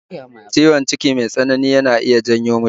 Ciwon ciki mai tsanani yana iya janyo mutuwa